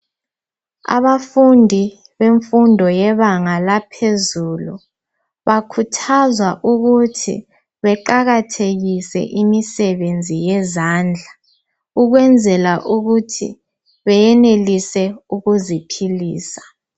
Abafundi bemfundo yebanga laphezulu bakhuthazwa ukuthi beqakathekise imisebenzi yezandla ukwenzela ukuthi beyenelise ukuziphilisa.